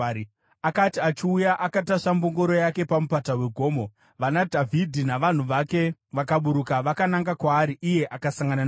Akati achiuya akatasva mbongoro yake pamupata wegomo, vanaDhavhidhi navanhu vake vakaburuka vakananga kwaari, iye akasangana navo.